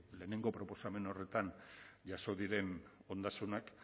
lehenengo proposamen horretan jaso diren ondasunak